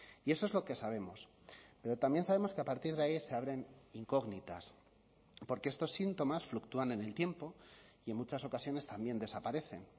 y eso es lo que sabemos pero también sabemos que a partir de ahí se abren incógnitas porque estos síntomas fluctúan en el tiempo y en muchas ocasiones también desaparecen